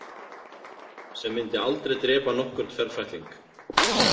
Sem myndi aldrei drepa nokkurn ferfætling.